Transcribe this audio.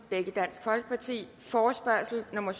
forespørgsel nummer